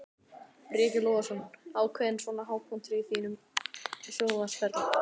Breki Logason: Ákveðinn svona hápunktur á þínum sjónvarpsferli?